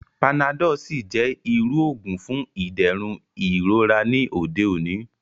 Panadọ́l sì jẹ́ irú òògùn fún ìdẹ̀rùn ìrora ní òde òní